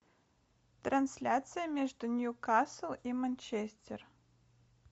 трансляция между ньюкасл и манчестер